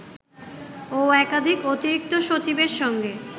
ও একাধিক অতিরিক্ত সচিবের সঙ্গে